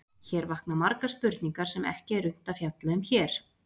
Hér vakna margar spurningar sem ekki er unnt að fjalla um hér.